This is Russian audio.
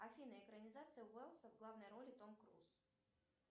афина экранизация уэлса в главной роли том круз